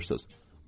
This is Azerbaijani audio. Hara buyurursunuz?